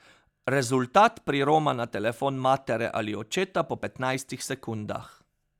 Rezultat priroma na telefon matere ali očeta po petnajstih sekundah.